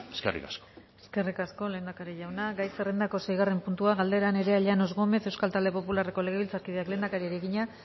eskerrik asko eskerrik asko lehendakari jauna gai zerrendako seigarren puntua galdera nerea llanos gómez euskal talde popularreko legebiltzarkideak lehendakariari egina